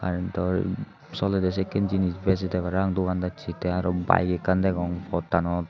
a yot daw solede sikke jinis bejede parang dogan dajse ty araw bike ekkan degong pottanot.